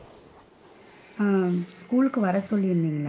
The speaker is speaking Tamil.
ஹம் school ளுக்கு வர சொல்லி இருந்தீங்க!